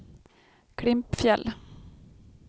Klimpfjäll